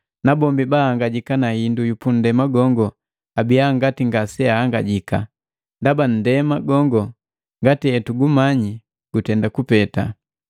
nabombi bahangajika na hindu yu pundema gongo abiya ngati ngaseahangajaki. Ndaba nndema gongo, ngati etugumanyi gutenda kupeta.